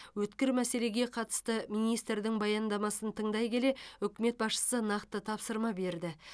өткір мәселеге қатысты министрдің баяндамасын тыңдай келе үкімет басшысы нақты тапсырма берді